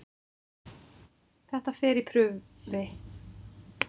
Þetta fer í prufi.